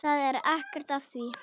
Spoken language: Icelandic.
Það er ekkert að því.